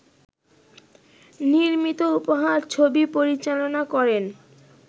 নির্মিত ‘উপহার’ ছবি পরিচালনা করেন